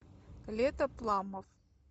лето пламмов